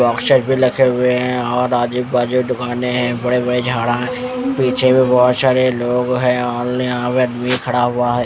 Boxes भी रखे हुए है और आजू बाजू दुकाने है बड़े बड़े झाड़ा है पीछे भी बहुत सारे लोंग है और ये आवेद भी खड़ा हुआ है ।